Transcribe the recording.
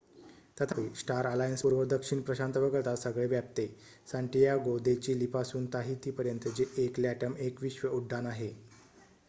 तथापि star alliance पूर्व दक्षिण प्रशांत वगळता सगळे व्यापते सांटियागो दे चिली पासून ताहिती पर्यंत जे एक लॅटम एक विश्व उड्डाण आहे